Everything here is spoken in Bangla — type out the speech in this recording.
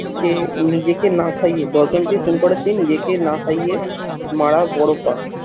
যে নিজেকে না খাইয়ে, দশজনকে খুন করার চেয়ে নিজেকে না খাইয়ে মারা বড় পাপ।